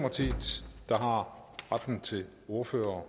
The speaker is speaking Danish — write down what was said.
føre til at ordføreren